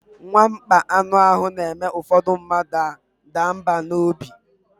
Mwakpọ anụ ahụ na-eme ụfọdụ mmadụ a daa mbà n'obi.